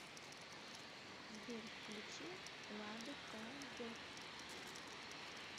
сбер включи ладу ка зэт